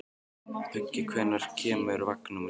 Beggi, hvenær kemur vagn númer sjö?